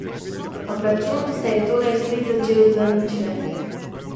Obračun se je torej spet začel z ničle.